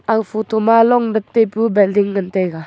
aga photo ma lom bat taipu building ngan taiga.